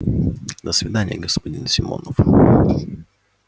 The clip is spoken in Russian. до свидания господин симонов